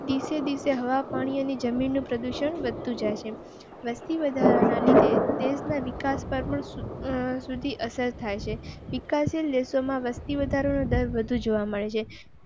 દિવસે દિવસે હવા, પાણી અને જમીન નું પ્રદૂષણ વધ તું જાય છે. વસ્તી વધારા ના લીધે દેશ ના વિકાસ પર અસર થાય છે. વિકાસ શીલ દેશો માં વસ્તી વધારા નો દર વધુ જોવા મળે છે